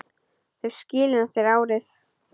Þau skilin eftir árið.